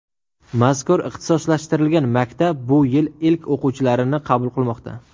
Mazkur ixtisoslashtirilgan maktab bu yil ilk o‘quvchilarini qabul qilmoqda.